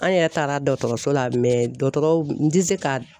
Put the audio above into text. An yɛrɛ taara dɔkɔtɔrɔso la dɔkɔtɔrɔw, n ti se ka